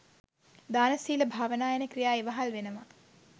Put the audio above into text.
දාන, සීල, භාවනා යන ක්‍රියා ඉවහල් වෙනවා.